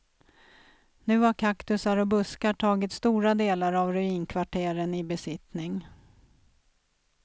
Nu har kaktusar och buskar tagit stora delar av ruinkvarteren i besittning.